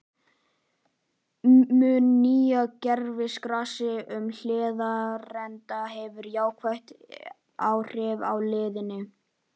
Mun nýja gervigrasið á Hlíðarenda hefur jákvæð áhrif á liðið?